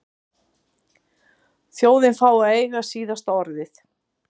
Þjóðin fái að eiga síðasta orðið?